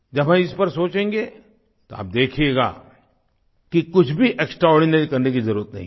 जब वह इस पर सोचेंगे तो आप देखिएगा कि कुछ भी एक्सट्राआर्डिनरी करने की ज़रुरत नहीं है